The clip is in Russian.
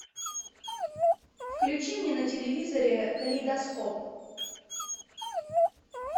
включи мне на телевизоре калейдоскоп